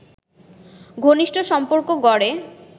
ঘনিষ্ঠ সম্পর্ক গড়ে